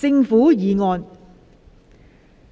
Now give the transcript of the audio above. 政府議案。